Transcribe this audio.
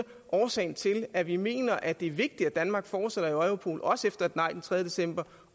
årsagen til at vi mener at det er vigtigt at danmark fortsætter i europol også efter et nej den tredje december